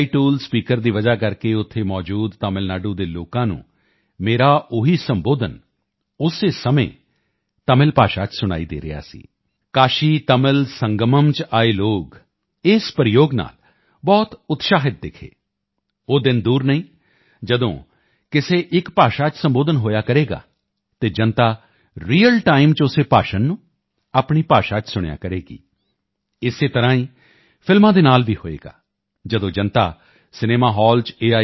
tool speaker ਦੀ ਵਜ੍ਹਾ ਕਰਕੇ ਉੱਥੇ ਮੌਜੂਦ ਤਮਿਲ ਨਾਡੂ ਦੇ ਲੋਕਾਂ ਨੂੰ ਮੇਰਾ ਉਹੀ ਸੰਬੋਧਨ ਉਸੇ ਸਮੇਂ ਤਮਿਲ ਭਾਸ਼ਾ ਚ ਸੁਣਾਈ ਦੇ ਰਿਹਾ ਸੀ ਕਾਸ਼ੀ ਤਮਿਲ ਸੰਗਮਮ ਚ ਆਏ ਲੋਕ ਇਸ ਪ੍ਰਯੋਗ ਨਾਲ ਬਹੁਤ ਉਤਸ਼ਾਹਿਤ ਦਿਖੇ ਉਹ ਦਿਨ ਦੂਰ ਨਹੀਂ ਜਦੋਂ ਕਿਸੇ ਇੱਕ ਭਾਸ਼ਾ ਚ ਸੰਬੋਧਨ ਹੋਇਆ ਕਰੇਗਾ ਅਤੇ ਜਨਤਾ ਰੀਅਲ ਟਾਈਮ ਚ ਉਸੇ ਭਾਸ਼ਣ ਨੂੰ ਆਪਣੀ ਭਾਸ਼ਾ ਚ ਸੁਣਿਆ ਕਰੇਗੀ ਇਸੇ ਤਰ੍ਹਾਂ ਹੀ ਫਿਲਮਾਂ ਦੇ ਨਾਲ ਵੀ ਹੋਵੇਗਾ ਜਦੋਂ ਜਨਤਾ ਸਿਨੇਮਾ ਹਾਲ ਚ ਏ